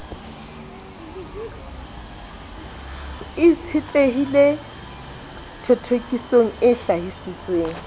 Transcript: e itshetlehileng thothokisong e hlahisitsweng